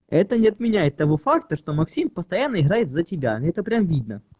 это не отменяет того факта что максим постоянно играет за тебя это прям видно